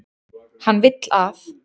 Hann vill að.